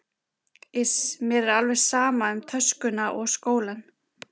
Iss, mér er alveg sama um töskuna og skólann